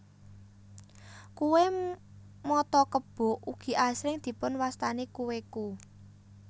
Kue mata kebo ugi asring dipun wastani kue ku